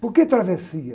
Por que travessia?